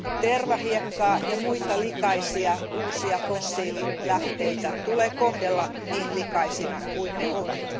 Tervahiekkaa ja muita likaisia uusia fossiililähteitä tulee kohdella niin likaisina kuin ne ovat.